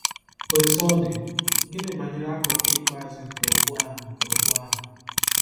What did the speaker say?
Otú ọ dị, gịnị banyere akụkụ ikpeazụ nke okwu ahụ nke okwu ahụ?